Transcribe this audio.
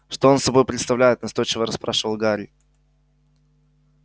что он собой представляет настойчиво расспрашивал гарри